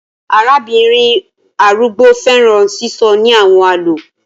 Arabinrin arugbo fẹran sisọ ni awọn àlọ